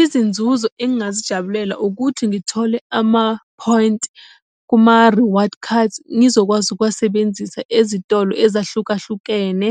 Izinzuzo engingazijabulela ukuthi ngithole ama-point kuma-reward cards, ngizokwazi ukuwasebenzisa ezitolo ezahlukahlukene,